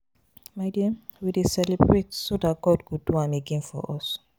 My dear we dey celebrate so dat God go do am again for us